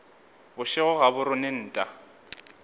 bošego ga bo rone nta